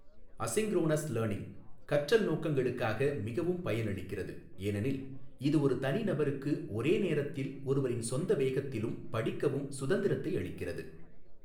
Asynchronous learning கற்றல் நோக்கங்களுக்காக மிகவும் பயனளிக்கிறது ஏனெனில் இது ஒரு தனிநபருக்கு ஒரே நேரத்தில் ஒருவரின் சொந்த வேகத்திலும் படிக்கவும் சுதந்திரத்தை அளிக்கிறது.